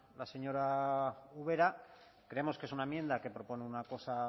la señora ubera creemos que es una enmienda que propone una cosa